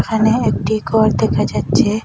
এখানে একটি গর দেখা যাচ্ছে।